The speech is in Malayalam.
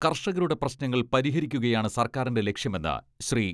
കർഷകരുടെ പ്രശ്നങ്ങൾ പരിഹരിക്കുകയാണ് സർക്കാരിന്റെ ലക്ഷ്യമെന്ന് ശ്രീ.